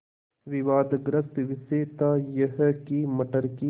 विवादग्रस्त विषय था यह कि मटर की